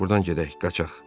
Buradan gedək, qaçaq.